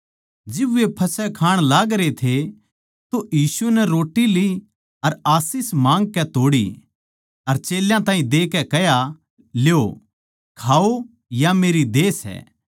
जिब वे फसह खाण लागरे थे तो यीशु नै रोट्टी ली अर आशीष माँगकै तोड़ी अर चेल्यां ताहीं देकै कह्या ल्यो खाओ या मेरी देह सै